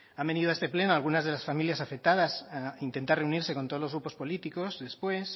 han venido a este pleno algunaa de esas familias afectadas a intentar reunirse con todos los grupos políticos después